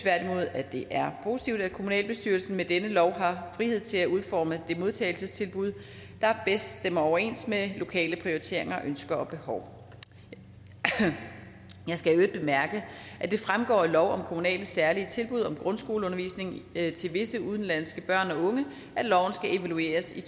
at det er positivt at kommunalbestyrelsen med denne lov har frihed til at udforme det modtagelsestilbud der bedst stemmer overens med lokale prioriteringer ønsker og behov jeg skal i øvrigt bemærke at det fremgår af lov om kommunale særlige tilbud om grundskoleundervisning til visse udenlandske børn og unge at loven skal evalueres i